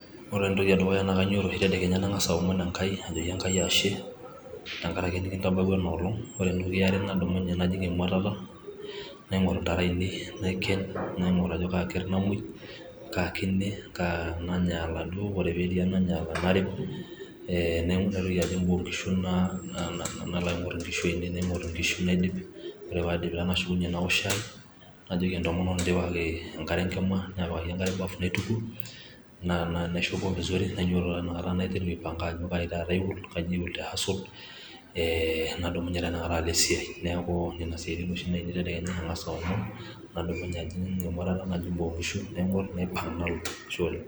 ore entoki edukuya naa kadumunye tedekeya nang'as aomon enkai, najoki enkai ashe, tenkaraki nikintabawua ena olong. Ore eniare nadumunye najing' emuatata naing'or intare ainei naiken, naing'or ajo kaa kerre namuoi, kaa kine kaa nanyaala duo ore paa ketii enanyaala, narem, Eee naitoki alo boo oo nkishu nalo aing'orr inkishu ainei daidip, ore pee adip nalo aok shai, najoki entomononi pee aapikaki enkare enkima naa pikaki enkare bafu naitukuo, naishopo vizuri nainyototo inakata naiteru aipanga ajo kaji taata alo aihusol, nadumunye teinakata alo esiai, neaku nene siaitin ainei etedekenya .ang'as aomon nadumunye ajing' emuatata, najing' boo oo nkishu naing'or napuku nalo, ashe oleng'